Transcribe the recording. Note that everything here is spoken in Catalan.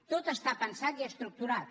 tot està pensat i estructurat